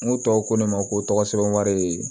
N ko tubabu ko ne ma ko tɔgɔ sɛbɛn wari